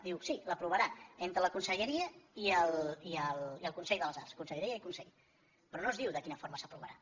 diu sí s’aprovarà entre la conselleria i el consell de les arts conselleria i consell però no es diu de quina forma s’aprovarà